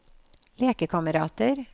lekekamerater